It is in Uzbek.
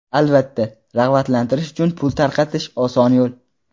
Albatta, rag‘batlantirish uchun pul tarqatish oson yo‘l.